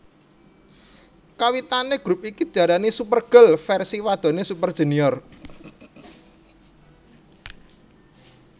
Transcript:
Kawitane grup iki diarani Super Girl versi wadone Super Junior